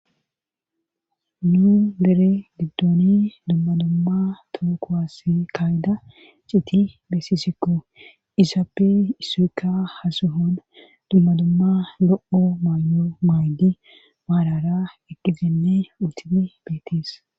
Nuu dere giddooni dummadumma tookowas kaayida citi beessisikko izaappe isoykka hasehon dummadumma lo'o maayyo maaydi maalara eqkizinne utimi beetis.